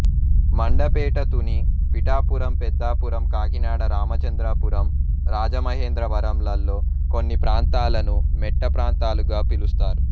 మండపేట తుని పిఠాపురం పెద్దాపురం కాకినాడ రామచంద్రాపురం రాజమహేంద్రవరం లలో కొన్ని ప్రాంతాలను మెట్ట ప్రాంతాలుగా పిలుస్తారు